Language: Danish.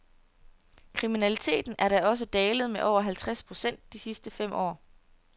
Kriminaliteten er da også dalet med over halvtreds procent de sidste fem år.